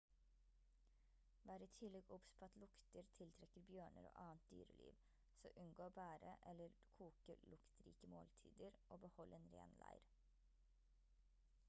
vær i tillegg obs på at lukter tiltrekker bjørner og annet dyreliv så unngå å bære eller koke luktrike måltider og behold en ren leir